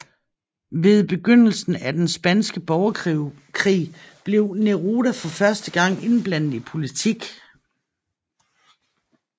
Ved begyndelsen af den spanske borgerkrig blev Neruda for første gang indblandet i politik